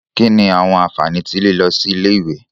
Kini awọn anfani ti lilọ si ile-iwe?